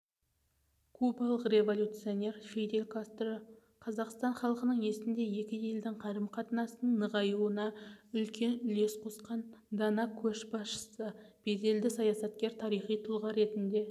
кубалық революционер фидель кастро қазақстан халқының есінде екі елдің қарым-қатынасынының нығаюына үлкен үлес қосқан дана көшбасшы беделді саясаткер тарихи тұлға ретінде